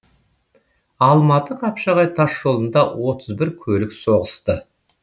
алматы қапшағай тасжолында отыз бір көлік соғысты